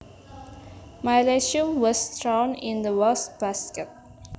My resume was thrown in the waste basket